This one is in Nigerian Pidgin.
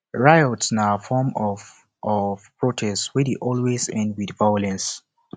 riots na form of of protest wey de always end with violence